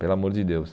Pelo amor de Deus.